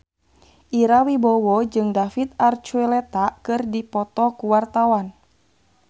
Ira Wibowo jeung David Archuletta keur dipoto ku wartawan